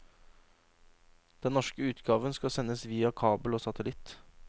Den norske utgaven skal sendes via kabel og satellitt.